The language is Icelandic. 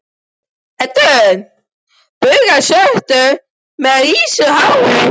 Pétur með baugana svörtu og rísandi hárin.